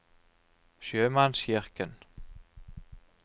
sjømannskirken